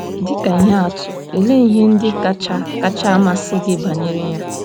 Dị ka ihe atụ, olee ihe ndị kacha kacha amasị gị banyere ya?